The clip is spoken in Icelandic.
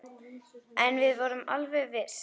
En við vorum alveg viss.